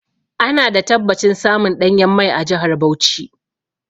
Ana da tabbacin samun ɗanyen mai a jahar Bauchi.